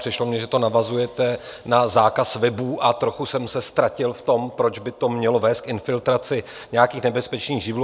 Přišlo mně, že to navazujete na zákaz webů, a trochu jsem se ztratil v tom, proč by to mělo vést k infiltraci nějakých nebezpečných živlů.